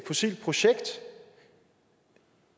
fossilt projekt